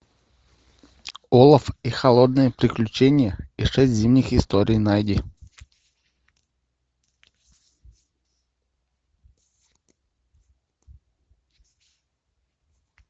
олаф и холодное приключение и шесть зимних историй найди